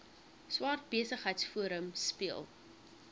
swart besigheidsforum speel